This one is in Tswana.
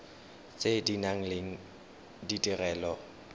tse di nang le ditirelo